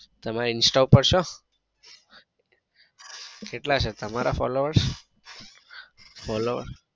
તમે insta પર છો? કેટલા છે તમારા followers? followers